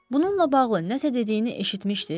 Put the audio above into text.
Bununla bağlı nəsə dediyini eşitmişdiz?